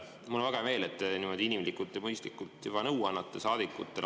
Mul on väga hea meel, et te niimoodi inimlikult ja mõistlikult saadikutele nõu annate.